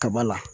Kaba la